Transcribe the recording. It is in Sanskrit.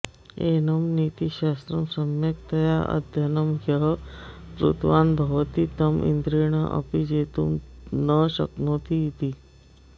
एनं नीतिशास्त्रं सम्यक् तया अध्ययनं यः कृतवान् भवति तं इन्द्रेणाऽपि जेतुं न शक्नोति इति